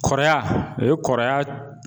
Kɔrɔya o ye kɔrɔya